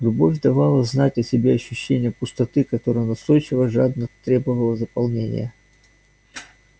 любовь давала знать о себе ощущением пустоты которая настойчиво жадно требовала заполнения